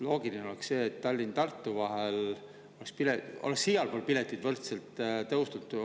Loogiline oleks see, et Tallinna ja Tartu vahel oleks igal pool piletihindu võrdselt tõstetud.